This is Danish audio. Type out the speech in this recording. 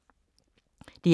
DR K